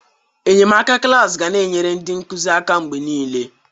Enyemaka klaasị ga na-enyere ndị nkuzi aka mgbe niile.